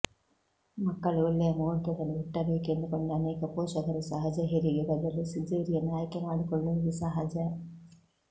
ಮಕ್ಕಳು ಒಳ್ಳೆಯ ಮುಹೂರ್ತದಲ್ಲಿ ಹುಟ್ಟಬೇಕೆಂದುಕೊಂಡು ಅನೇಕ ಪೋಷಕರು ಸಹಜ ಹೆರಿಗೆ ಬದಲು ಸಿಜೇರಿಯನ್ ಆಯ್ಕೆ ಮಾಡಿಕೊಳ್ಳುವುದು ಸಹಜ